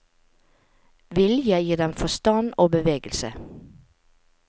Vilje gir dem forstand og bevegelse.